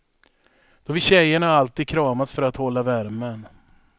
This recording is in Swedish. Då vill tjejerna alltid kramas för att hålla värmen.